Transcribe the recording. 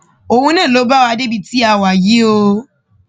òun náà ló bá wa débi tí a wà yìí o